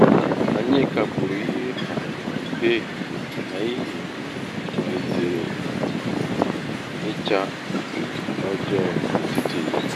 akwa asara akọghị n'ihi mmiri ozizo nke n'atụghị ányá ya nke bịara tupu ehihie eruo.